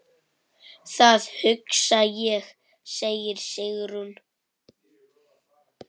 Það hugsa ég, segir Sigrún.